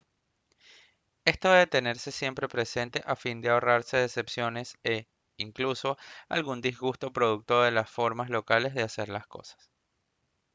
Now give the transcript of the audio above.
esto debe tenerse siempre presente a fin de ahorrarse decepciones e incluso algún disgusto producto de las formas locales de hacer las cosas